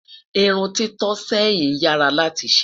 irún tito sẹyìn yaa rà láti ṣé